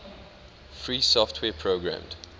free software programmed